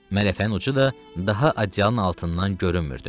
Mələfənin ucu da daha adyalın altından görünmürdü.